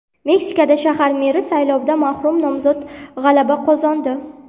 Meksikada shahar meri saylovida marhum nomzod g‘alaba qozondi.